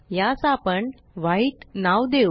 यास आपण व्हाईट नाव देऊ